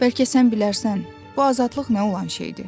Bəlkə sən bilərsən, bu azadlıq nə olan şeydir?